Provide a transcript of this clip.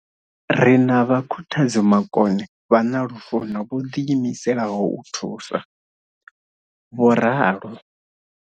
Ri na vhakhuthadzi makone vha na lufuno vho ḓiimiselaho u thusa, vho ralo.